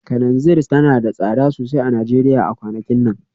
Kananzir tana da tsada sosai a Najeriya a kwanakin nan